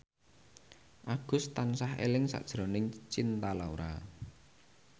Agus tansah eling sakjroning Cinta Laura